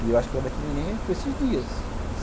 E eu acho que ela vai ter neném por esses dias.